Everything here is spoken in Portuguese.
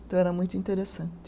Então era muito interessante.